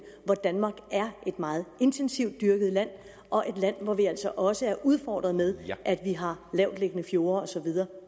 danmark er et meget intensivt dyrket land og et land hvor vi altså også er udfordret med at vi har lavtliggende fjorde osv